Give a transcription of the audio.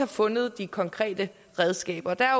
fundet de konkrete redskaber der er